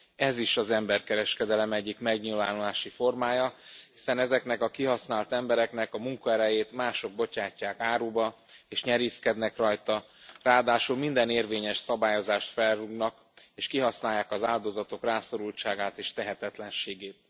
Ez is az emberkereskedelem egyik megnyilvánulási formája, hiszen ezeknek a kihasznált embereknek a munkaerejét mások bocsátják áruba és nyerészkednek rajta, ráadásul minden érvényes szabályozást felrúgnak és kihasználják az áldozatok rászorultságát és tehetetlenségét.